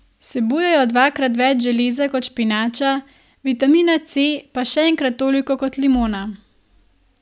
Vsebujejo dvakrat več železa kot špinača, vitamina C pa še enkrat toliko kot limona.